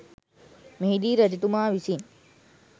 මෙහිදී රජතුමා විසින්